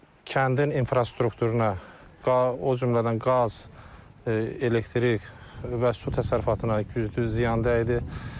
Kəndin infrastrukturuna, o cümlədən qaz, elektrik və su təsərrüfatına güclü ziyan dəydi.